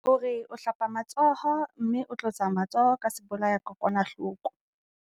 Hore o hlapa matsoho mme o tlotsa matsoho ka sebolayakokwanahloko.